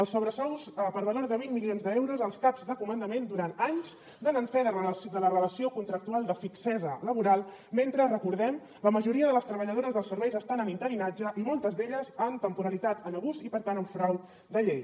els sobresous per valor de vint milions d’euros als caps de comandament durant anys donen fe de la relació contractual de fixesa laboral mentre recordem ho la majoria de les treballadores dels serveis estan en interinatge i moltes d’elles amb temporalitat en abús i per tant en frau de llei